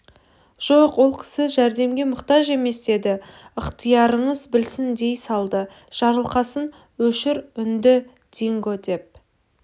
жоқ ол кісі жәрдемге мұқтаж емес деді ықтиярыңыз білсін дей салды жарылқасын өшір үніңді динго деп